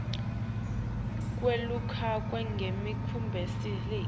kwelulekwa ngembi kwekubeleka